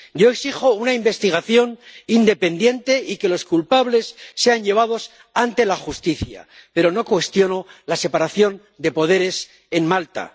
Yo exijo una investigación independiente y que los culpables sean llevados ante la justicia, pero no cuestiono la separación de poderes en Malta.